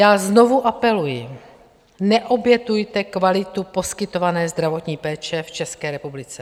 Já znovu apeluji, neobětujte kvalitu poskytované zdravotní péče v České republice!